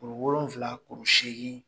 Kuru wolonwula kuru seegin